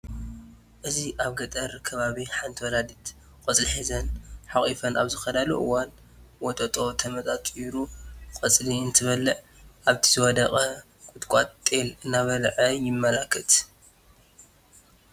እዚ አብ ገጠር ከባቢ ሐንቲ ወላዲት ቆፅሊ ሒዘን ሐቅፎን አብ ዝኸዳሉ እዋን ወጦጦ ተመጣጢሩ ቆፅሊ እንትበልዕን አብቲ ዝወደቀ ቁጥቋጥ ጤል እናበልዐ የማላክተና።